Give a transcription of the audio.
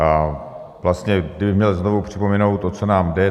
A vlastně kdybych měl znovu připomenout, o co nám jde.